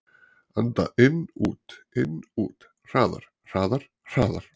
Anda inn-út-inn-út. hraðar, hraðar, hraðar.